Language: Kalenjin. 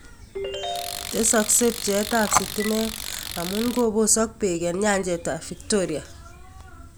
Tesaakse bcheetaab sitimeet amuun kobosook beek eng nyanjeetaab Victoria